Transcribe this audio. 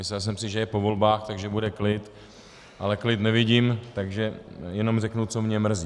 Myslel jsem si, že je po volbách, takže bude klid, ale klid nevidím, takže jenom řeknu, co mě mrzí.